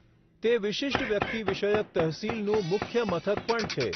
તે વિશિષ્ટ વ્યક્તિ વિષયક તહસીલનું મુખ્ય મથક પણ છે.